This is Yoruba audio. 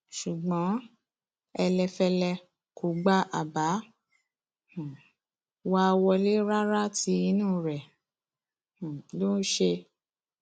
ṣùgbọn ẹlẹfẹlẹ kò gba àbá um wa wọlẹ rárá tí inú rẹ um ló ṣe